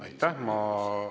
Aitäh!